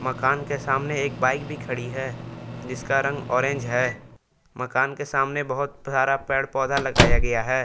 दुकान के सामने एक बाइक भी खड़ी है जिसका रंग ऑरेंज है मकान के सामने बहुत सारा पेड़ पौधा लगाया गया है।